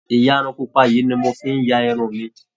Ìyarun pupa yìí ni mo fi ń ya irun mi